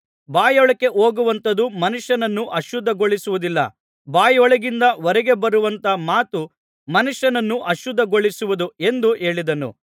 ಬಾಯೊಳಕ್ಕೆ ಹೋಗುವಂಥದ್ದು ಮನುಷ್ಯನನ್ನು ಅಶುದ್ಧಿಗೊಳಿಸುವುದಿಲ್ಲ ಬಾಯೊಳಗಿಂದ ಹೊರಗೆ ಬರುವಂಥ ಮಾತು ಮನುಷ್ಯನನ್ನು ಅಶುದ್ಧಗೊಳಿಸುವುದು ಎಂದು ಹೇಳಿದನು